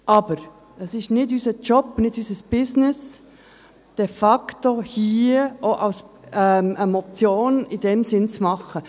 Aber es ist nicht unser Job, nicht unser Business, de facto hier eine Motion in diesem Sinn zu machen.